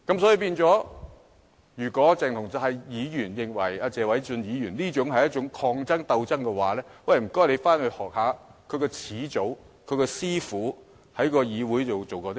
所以，如果鄭松泰議員認為謝偉俊議員這項議案是抗爭、鬥爭的話，那麼便請他回去學習一下他的始祖、他的師父在議會內做過甚麼。